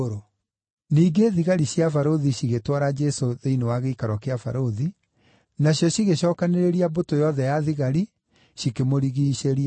Ningĩ thigari cia barũthi cigĩtwara Jesũ thĩinĩ wa gĩikaro kĩa barũthi, nacio cigĩcookanĩrĩria mbũtũ yothe ya thigari, cikĩmũrigiicĩria.